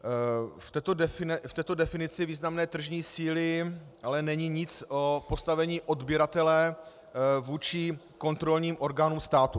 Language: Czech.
V této definici významné tržní síly ale není nic o postavení odběratele vůči kontrolním orgánům státu.